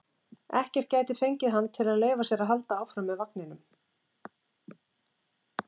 Ekkert gæti fengið hann til að leyfa sér að halda áfram með vagninum.